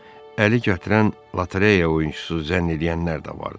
Əli gətirən lotereya oyunçusu zənn eləyənlər də vardı.